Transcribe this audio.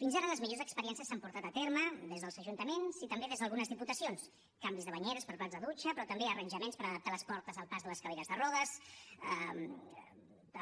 fins ara les millors experiències s’han portat a terme des dels ajuntaments i també des d’algunes diputacions canvis de banyeres per plats de dutxa però també arranjaments per adaptar les portes al pas de les cadires de rodes